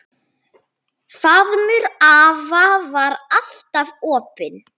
Faðmur afa var alltaf opinn.